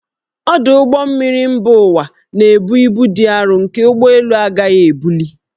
Ọdụ ụgbọ mmiri mba ụwa na-ebu ibu dị arọ nke ụgbọ elu na-agaghị ebuli